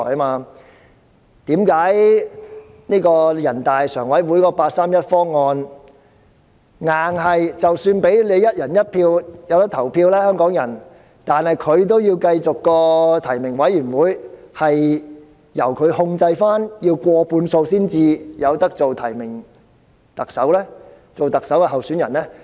為何人大常委會的八三一方案要訂明，即使香港人可以"一人一票"，但仍要控制提名委員會，規定須取得過半數支持才可獲提名參選特首呢？